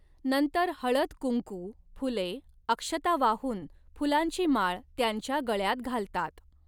नंतर हळद कुंकू, फुले, अक्षता वाहून फुलांची माळ त्यांच्या गळ्यात घालतात.